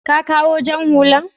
ka ƙawo jan hullan?